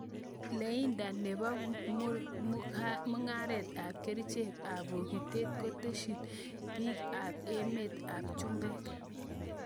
Lainda nebo mungaret ab kerchek ab bogitet koteshin biik ab emet ab chumbek.